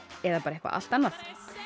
eða bara eitthvað allt annað